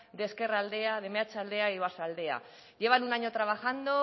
de ezkerraldea de meatzaldea y oarsoaldea llevan un año trabajando